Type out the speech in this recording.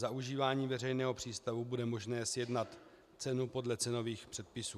Za užívání veřejného přístavu bude možné sjednat cenu podle cenových předpisů.